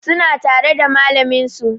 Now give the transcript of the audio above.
Suna tare da malamin su